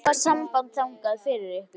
Ég skal hafa samband þangað fyrir ykkur.